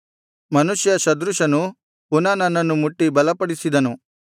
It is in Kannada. ಮನುಷ್ಯ ಸದೃಶನು ಪುನಃ ನನ್ನನ್ನು ಮುಟ್ಟಿ ಬಲಪಡಿಸಿದನು